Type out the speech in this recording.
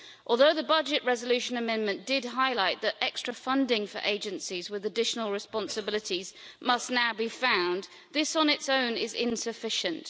Although the budget resolution amendment did highlight that extra funding for agencies with additional responsibilities must now be found, this on its own is insufficient.